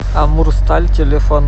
амурсталь телефон